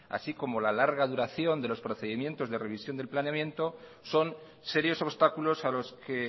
así como la larga duración de los procedimientos de revisión del planeamiento son serios obstáculos a los que